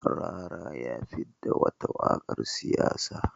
Rarara ya fidda wata waƙar siyasa.